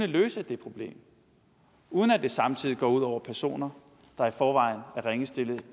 det problem uden at det samtidig går ud over personer der i forvejen er ringe stillet